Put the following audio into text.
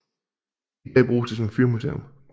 I dag bruges det som fyrmuseum